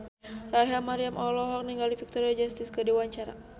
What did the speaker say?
Rachel Maryam olohok ningali Victoria Justice keur diwawancara